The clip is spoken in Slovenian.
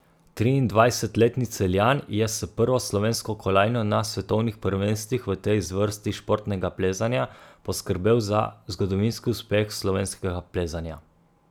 Triindvajsetletni Celjan je s prvo slovensko kolajno na svetovnih prvenstvih v tej zvrsti športnega plezanja poskrbel za zgodovinski uspeh slovenskega plezanja.